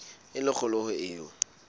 e le kgolo ho eo